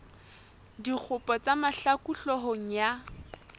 dikgopo tsa mahlaku hloohong ya